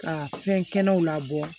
Ka fɛn kɛnɛw labɔ